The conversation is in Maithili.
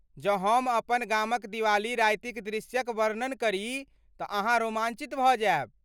जँ हम अपन गामक दिवाली रातिक दृश्यक वर्णन करी तऽ अहाँ रोमांचित भऽ जायब।